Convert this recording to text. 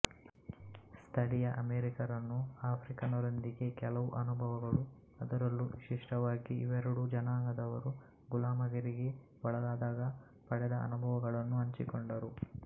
ಸ್ಥಳೀಯ ಅಮೆರಿಕನ್ನರು ಆಫ್ರಿಕನ್ನರೊಂದಿಗೆ ಕೆಲವು ಅನುಭವಗಳು ಅದರಲ್ಲೂ ವಿಶಿಷ್ಟವಾಗಿ ಇವೆರಡೂ ಜನಾಂಗದವರು ಗುಲಾಮಗಿರಿಗೆ ಒಳಗಾದಾಗ ಪಡೆದ ಅನುಭವಗಳನ್ನು ಹಂಚಿಕೊಂಡರು